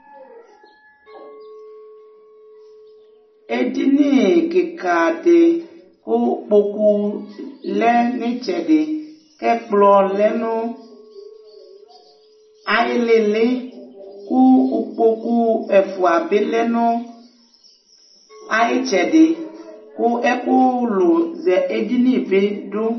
Edini kɩka dɩ kʋ kpoku lɛ nʋ ɩtsɛdɩ kʋ ɛkplɔ lɛ nʋ ayʋ ɩɩlɩ ɩɩlɩ kʋ ukpoku ɛfʋa bɩ lɛ nʋ ayʋ ɩtsɛdɩ kʋ ɛkʋlʋ zɛ edini bɩ dʋ